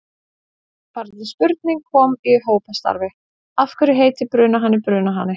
Eftirfarandi spurning kom upp í hópastarfi: Af hverju heitir brunahani brunahani?